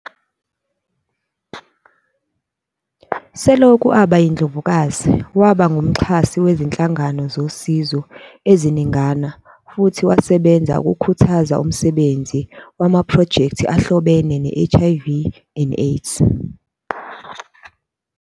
Selokhu aba yiNdlovukazi, waba nguMxhasi wezinhlangano zosizo eziningana futhi wasebenza ukukhuthaza umsebenzi wamaphrojekthi ahlobene ne- HIV and AIDS.